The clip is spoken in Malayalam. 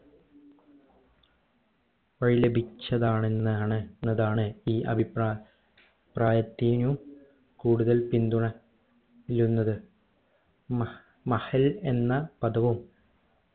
വഴി ലഭിച്ചതാണെന്നാണ് എന്നതാണ് ഈ അഭിപ്രായ പ്രായത്തിനു കൂടുതൽ പിന്തുണ ഇരുന്നത് മഹ് മഹൽ എന്ന പദവും